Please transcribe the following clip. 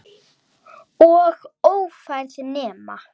Og ófær nema.